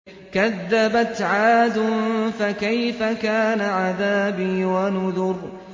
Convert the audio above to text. كَذَّبَتْ عَادٌ فَكَيْفَ كَانَ عَذَابِي وَنُذُرِ